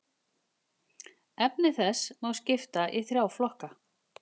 Efni þess má skipta í þrjá flokka.